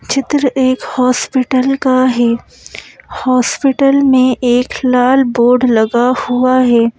चित्र एक हॉस्पिटल का है हॉस्पिटल में एक लाल बोर्ड लगा हुआ है।